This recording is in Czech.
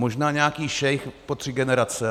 Možná nějaký šejk po tři generace.